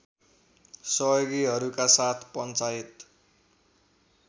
सहयोगीहरूका साथ पञ्चायत